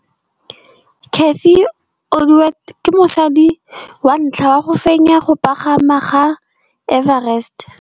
Cathy Odowd ke mosadi wa ntlha wa go fenya go pagama ga Mt Everest.